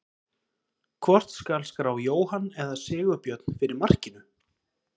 Hvort skal skrá Jóhann eða Sigurbjörn fyrir markinu?